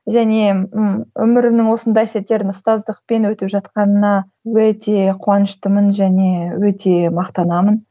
және ы өмірімнің осындай сәттерін ұстаздықпен өтіп жатқанына өте қуаныштымын және өте мақтанамын